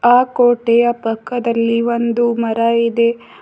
ಆ ಕೋಟೆಯ ಪಕ್ಕದಲ್ಲಿ ಒಂದು ಮರ ಇದೆ.